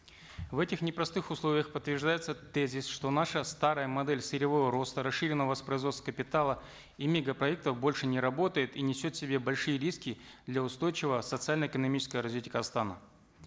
в этих непростых условиях подтверждается тезис что наша старая модель сырьевого роста расширенного воспроизводства капитала и мегапроектов больше не работает и несет в себе большие риски для устойчивого социально экономического развития казахстана